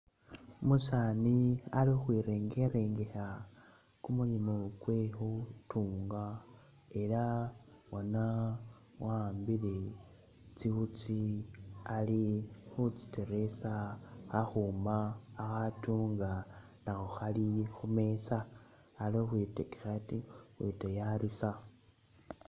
Umusaani ali ukhwi'rengerengekha kumulimo kwe khu'tunga ela bona wa'ambile tsi'wutsi ali khutsiteresa, khakhuma khakhatunga nakho Khali khumeza, ali ukhwitekekhate ukhwitayarisa